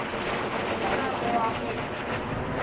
tanah merah ferry